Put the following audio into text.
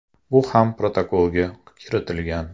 Bu ham protokolga kiritilgan.